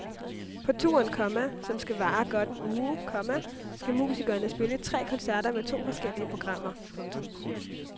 På turen, komma som skal vare godt en uge, komma skal musikerne spille tre koncerter med to forskellige programmer. punktum